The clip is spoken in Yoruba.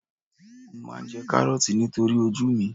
Mo máa jẹ Kárọ́ọ̀tì nítorí ojú mi.